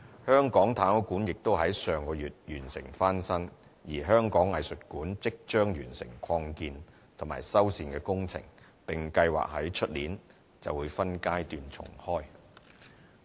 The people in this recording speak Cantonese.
香港太空館亦已於上月完成翻新，而香港藝術館即將完成擴建及修繕工程並計劃於明年起分階段重開。